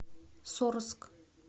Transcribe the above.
сорск